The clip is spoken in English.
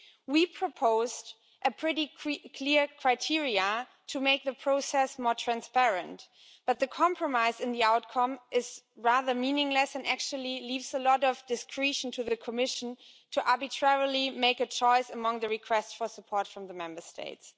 We proposed some pretty clear criteria to make the process more transparent, but the compromise in the outcome is rather meaningless and actually leaves a lot of discretion to the Commission to arbitrarily make a choice among the requests for support from the Member States.